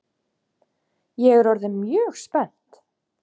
Ég er orðin mjög spennt!